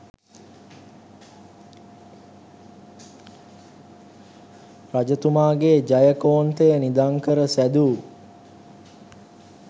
රජතුමාගේ ජයකොන්තය නිධන් කර සෑදූ